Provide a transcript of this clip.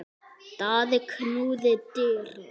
Daði knúði dyra.